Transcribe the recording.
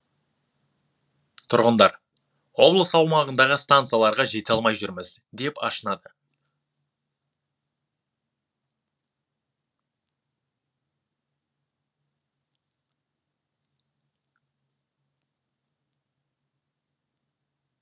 тұрғындар облыс аумағындағы стансаларға жете алмай жүрміз деп ашынады